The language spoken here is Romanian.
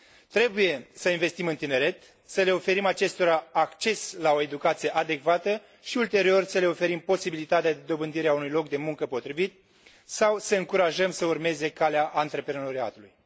Trebuie să investim în tineret, să le oferim acestora acces la o educație adecvată și, ulterior, să le oferim posibilitatea de dobândire a unui loc de muncă potrivit, sau să îi încurajăm să urmeze calea antreprenoriatului.